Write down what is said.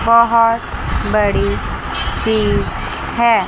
बहोत बड़ी चीज है।